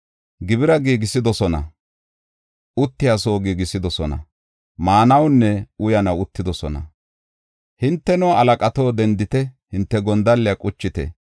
Gibira giigisidosona; uttiya soo giigisidosona; maanawunne uyanaw uttidosona. Hinteno halaqato, dendite! Hinte gondalliya quchite!